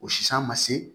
O sisi an ma se